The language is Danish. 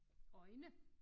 Øjne